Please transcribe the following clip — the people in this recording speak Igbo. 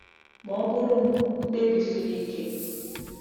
Ma, ọ bụụrụ m mkpebi siri ike.